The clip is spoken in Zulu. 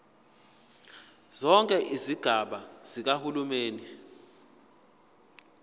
zonke izigaba zikahulumeni